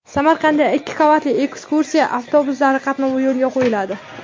Samarqandda ikki qavatli ekskursiya avtobuslari qatnovi yo‘lga qo‘yiladi.